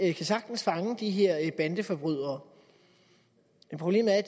de kan sagtens fange de her bandeforbrydere men problemet er at